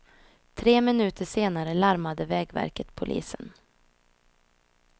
Tre minuter senare larmade vägverket polisen.